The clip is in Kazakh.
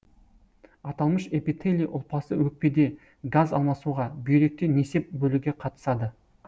аталмыш эпителий ұлпасы өкпеде газ алмасуға бүйректе несеп бөлуге қатысады